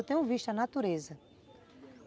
Eu tenho visto a natureza.